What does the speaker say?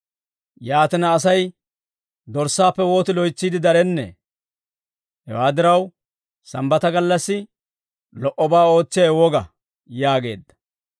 Yaatina, Asay dorssaappe wooti loytsiide darennee! Hewaa diraw, Sambbata gallassi lo"obaa ootsiyaawe woga» yaageedda.